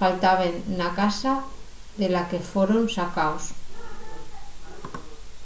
faltaben na casa de la que foron sacaos